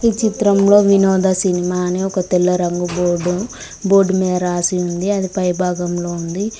ఈ చిత్రంలో వినోద సినిమా అని ఒక తెల్ల రంగు బోర్డు బోర్డు మీద రాసి ఉంది అది పై భాగంలో ఉంది.